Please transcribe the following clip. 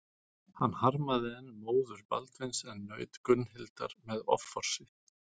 Hann harmaði enn móður Baldvins en naut Gunnhildar með offorsi.